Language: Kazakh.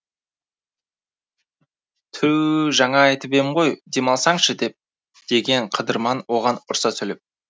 түу жаңа айтып ем ғой дем алсаңшы деп деген қыдырман оған ұрса сөйлеп